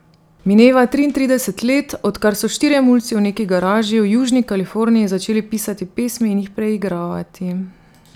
Mineva triintrideset let, odkar so štirje mulci v neki garaži v južni Kaliforniji začeli pisati pesmi in jih preigravati.